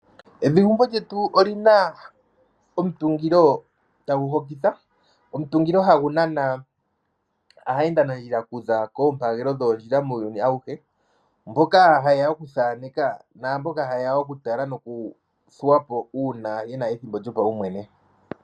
Evi gumbo lyetu olina omutungilo tagu hokitha, omutungilo hagu nana aayenda nandjila okuza koompagelo dhoondjila muuyuni awuhe, mboka hayeya okuthaaneka naamboka hayeya okutala nokuthuwa po uuna yena ethimbo lyopawu mwene.